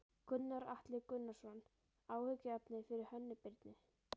Gunnar Atli Gunnarsson: Áhyggjuefni fyrir Hönnu Birnu?